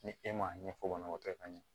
Ni e m'a ɲɛfɔ banabaatɔ ka ɲɛ